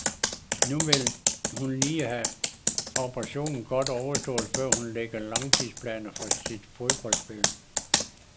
Nu vil hun lige have operationen godt overstået, før hun lægger langtidsplaner for sit fodboldspil.